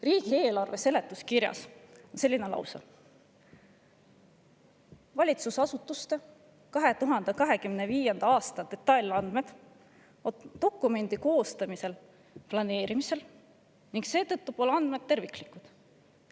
Riigieelarve seletuskirjas on selline lause: "Valitsusasutuste 2025. aasta detailandmed on dokumendi koostamisel hetkel planeerimisel ning seetõttu pole andmed terviklikud.